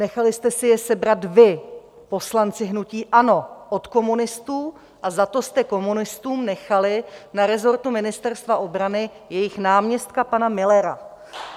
Nechali jste si je sebrat vy, poslanci hnutí ANO, od komunistů a za to jste komunistům nechali na resortu Ministerstva obrany jejich náměstka pana Müllera.